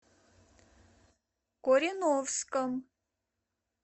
кореновском